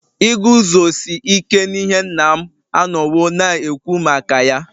Iguzosi ike n'ihe nna m anọwo na-ekwu maka ya